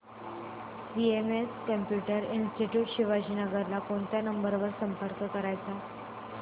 CMS computer institute Shivajinagar ला कोणत्या number वर संपर्क करायचा